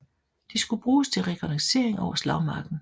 De skulle bruges til rekognoscering over slagmarken